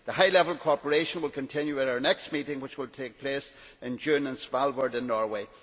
The high level cooperation will continue at our next meeting, which will take place in June in Svalbard in Norway.